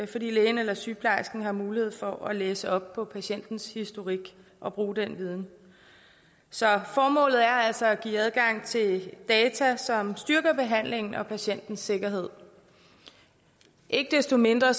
fordi lægen eller sygeplejersken har mulighed for at læse op på patientens historik og bruge den viden så formålet er altså at give adgang til data som styrker behandlingen og patientens sikkerhed ikke desto mindre